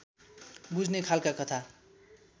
बुझ्ने खालका कथा